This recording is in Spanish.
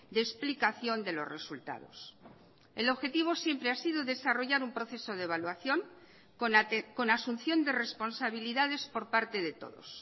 de explicación de los resultados el objetivo siempre ha sido desarrollar un proceso de evaluación con asunción de responsabilidades por parte de todos